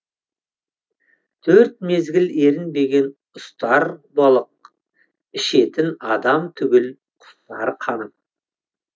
төрт мезгіл ерінбеген ұстар балық ішетін адам түгіл құстар қанып